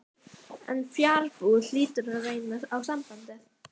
En fjarbúð hlýtur að reyna á sambandið.